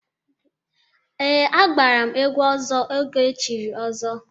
Ee, agbara m egwu ọzọ oge chiri ọzọ.